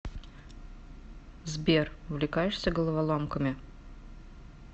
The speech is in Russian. сбер увлекаешься головоломками